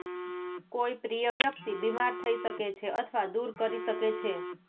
કોઈ પ્રિય વ્યક્તિ બીમાર થઈ શકે છે અથવા દૂર કરી શકે છે